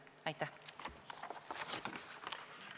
Aitäh!